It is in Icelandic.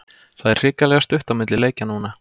Það er hrikalega stutt á milli leikja núna.